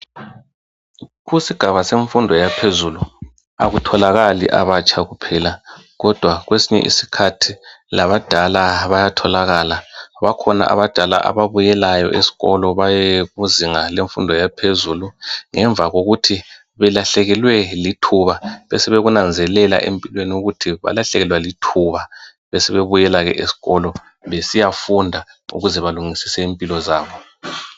Kusigaba semfundo yaphezulu akutholakali abatsha kuphela kodwa kwesinye isikhathi labadala bayatholakala , bakhona abadala ababuyelayo eskolo baye kuzinga lemfundo yaphezulu ngemva kokuthi belahlekelwe lithuba besebekunanzelela empilweni ukuthi balahlekelwa lithuba besebebuyela ke eskolo besiya funda ukuze balungisise impilo zabo